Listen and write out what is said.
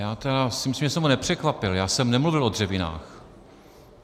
Já si myslím, že jsem ho nepřekvapil - já jsem nemluvil o dřevinách.